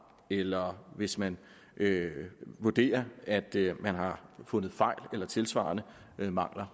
eller hvis man vurderer at man har fundet fejl eller tilsvarende mangler